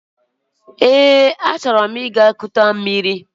Eé, achọrọ m ịga kute mmiri.